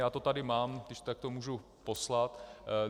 Já to tady mám, když tak to můžu poslat.